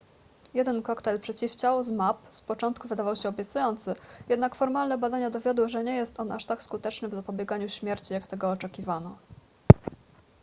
jeden koktajl przeciwciał zmapp z początku wydawał się obiecujący jednak formalne badania dowiodły że nie jest on aż tak skuteczny w zapobieganiu śmierci jak tego oczekiwano